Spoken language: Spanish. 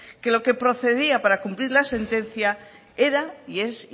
que lo que procedía para cumplir la sentencia era y es